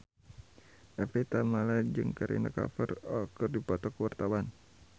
Evie Tamala jeung Kareena Kapoor keur dipoto ku wartawan